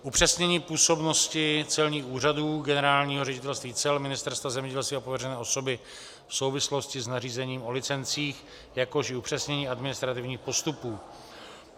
Upřesnění působnosti celních úřadů, Generálního ředitelství cel, Ministerstva zemědělství a pověřené osoby v souvislosti s nařízením o licencích, jakož i upřesnění administrativních postupů.